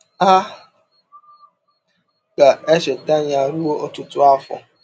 A ga-echeta ya ruo ọtụtụ afọ.